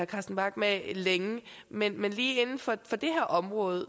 carsten bach med længe men men lige inden for det her område